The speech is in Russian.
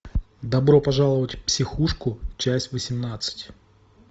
добро пожаловать в психушку часть восемнадцать